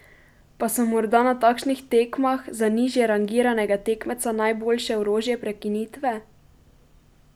Pa so morda na takšnih tekmah za nižjerangiranega tekmeca najboljše orožje prekinitve?